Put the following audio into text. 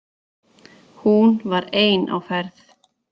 Hún var ein á ferð.